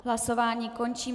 Hlasování končím.